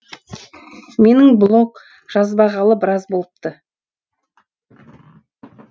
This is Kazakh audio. менің блог жазбағалы біраз болыпты